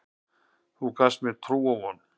Það gaf mér trú og von.